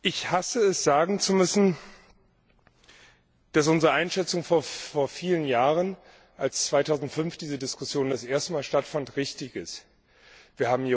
Ich hasse es, sagen zu müssen, dass unsere Einschätzung vor vielen Jahren, als 2005 diese Diskussion das erste Mal stattfand, richtig war.